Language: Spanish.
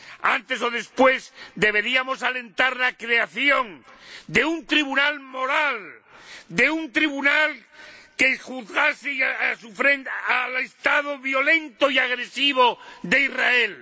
Antes o después, deberíamos alentar la creación de un tribunal moral, de un tribunal que juzgase y pusiera freno al Estado violento y agresivo de Israel.